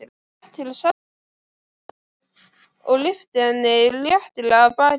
Hann gekk til Sesselju og lyfti henni léttilega af baki.